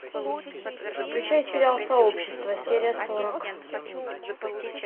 включай сериал сообщество серия сорок